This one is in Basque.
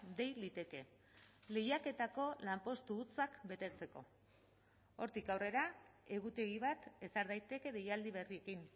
dei liteke lehiaketako lanpostu hutsak betetzeko hortik aurrera egutegi bat ezar daiteke deialdi berriekin